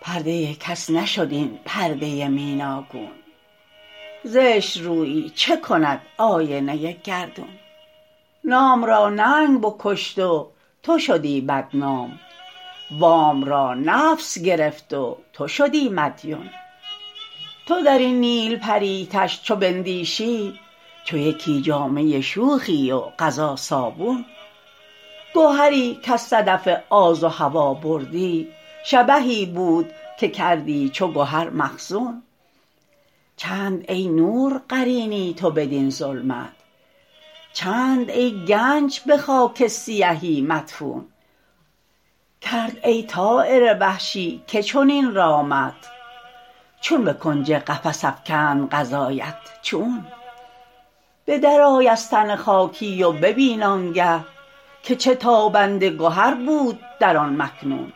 پرده کس نشد این پرده میناگون زشترویی چه کند آینه گردون نام را ننگ بکشت و تو شدی بدنام وام را نفس گرفت و تو شدی مدیون تو درین نیلپری تشت چو بندیشی چو یکی جامه شوخی و قضا صابون گهری کاز صدف آز و هوی بردی شبهی بود که کردی چو گهر مخزون چند ای نور قرینی تو بدین ظلمت چند ای گنج به خاک سیهی مدفون کرد ای طایر وحشی که چنین رامت چون به کنج قفس افکند قضایت چون به در آی از تن خاکی و ببین آنگه که چه تابنده گهر بود در آن مکنون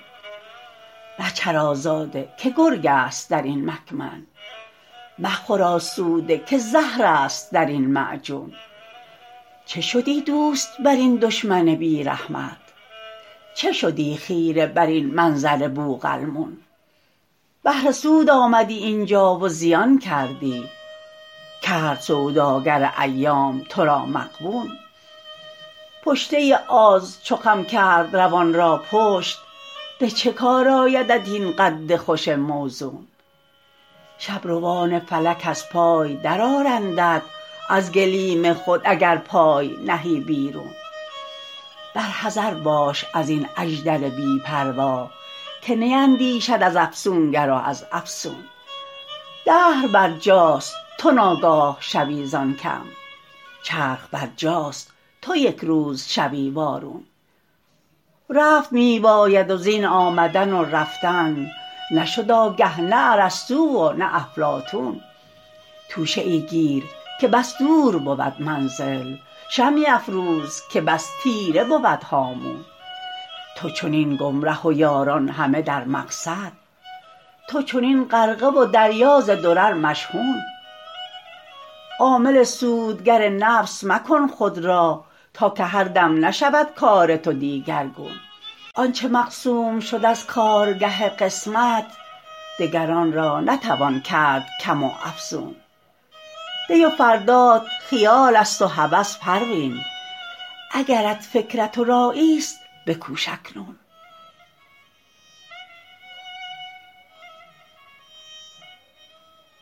مچر آزاده که گرگ است درین مکمن مخور آسوده که زهرست درین معجون چه شدی دوست برین دشمن بیرحمت چه شدی خیره برین منظر بوقلمون بهر سود آمدی اینجا و زیان کردی کرد سوداگر ایام ترا مغبون پشته آز چو خم کرد روان را پشت به چه کار آیدت این قد خوش موزون شبروان فلک از پای در آرندت از گلیم خود اگر پای نهی بیرون بر حذر باش ازین اژدر بی پروا که نیندیشد از افسونگر و از افسون دهر بر جاست تو ناگاه شوی زان کم چرخ برپاست تو یکروز شوی وارون رفت میباید و زین آمدن و رفتن نشد آگه نه ارسطو و نه افلاطون توشه ای گیر که بس دور بود منزل شمعی افروز که بس تیره بود هامون تو چنین گمره و یاران همه در مقصد تو چنین غرقه و دریا ز درر مشحون عامل سودگر نفس مکن خود را تا که هر دم نشود کار تو دیگرگون آنچه مقسوم شد از کارگه قسمت دگر آنرا نتوان کرد کم و افزون دی و فردات خیال است و هوس پروین اگرت فکرت و رایی ست بکوش اکنون